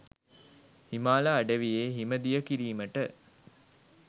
හිමාල අඩවියේ හිම දිය කිරීමට